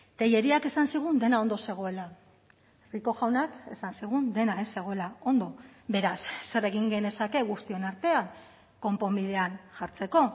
telleríak esan zigun dena ondo zegoela rico jaunak esan zigun dena ez zegoela ondo beraz zer egin genezake guztion artean konponbidean jartzeko